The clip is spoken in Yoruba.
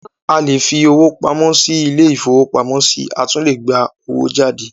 A lè fi owó pamọ́ sí ilé-ìfowópamọ́sí a tún lè gba owó jáde.